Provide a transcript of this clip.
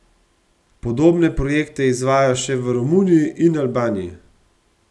Podobne projekte izvajajo še v Romuniji in Albaniji.